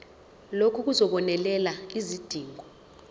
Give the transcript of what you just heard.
lokhu kuzobonelela izidingo